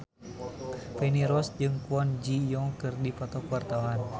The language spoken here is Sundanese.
Feni Rose jeung Kwon Ji Yong keur dipoto ku wartawan